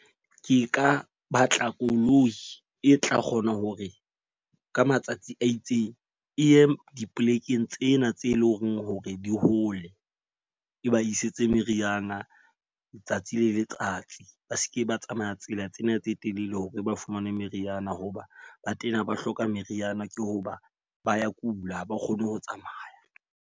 Ke ka batla koloi e tla kgona hore ka matsatsi a itseng e ye dipolekeng tsena tse leng hore di hole, e ba isetse meriana letsatsi le letsatsi. Ba seke ba tsamaya tsela tsena tse telele hore ba fumane meriana. Ho ba ba tena ba hloka meriana ke ho ba ba ya kula ha ba kgone ho tsamaya.